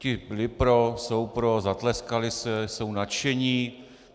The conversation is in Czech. Ti byli pro, jsou pro, zatleskali si, jsou nadšeni.